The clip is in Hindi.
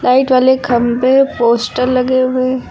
साइड वाले खंभे पोस्टर लगे हुए हैं।